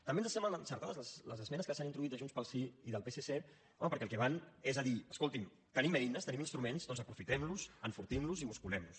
també ens semblen encertades les esmenes que s’hi han introduït de junts pel sí i del psc home perquè al que van és a dir escolti’m tenim eines tenim instruments doncs aprofitem los enfortim los i musculem nos